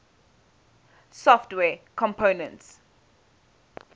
software components